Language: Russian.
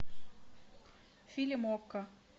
фильм окко